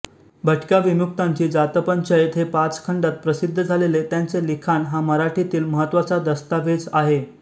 भटक्याविमुक्तांची जातपंचायत हे पाच खंडात प्रसिद्ध झालेले त्यांचे लिखाण हा मराठीतील महत्त्वाचा दस्तावेज आहे